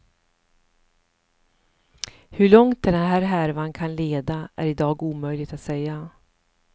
Hur långt den här härvan kan leda är i dag omöjligt att säga.